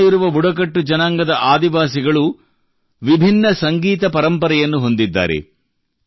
ದೇಶಾದ್ಯಂತ ಇರುವ ಬುಡಕಟ್ಟು ಜನಾಂಗದ ಆದಿವಾಸಿಗಳು ವಿಭಿನ್ನ ಸಂಗೀತ ಪರಂಪರೆಯನ್ನು ಹೊಂದಿದ್ದಾರೆ